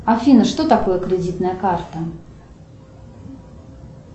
афина что такое кредитная карта